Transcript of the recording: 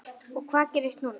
Og hvað gerist núna?